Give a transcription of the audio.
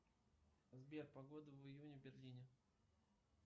сбер погода в июне в берлине